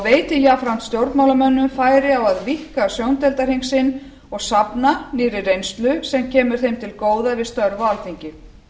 veiti jafnframt stjórnmálamönnum færi á að víkka sjóndeildarhring sinn og safna nýrri reynslu sem kemur þeim til góða við störf á alþingi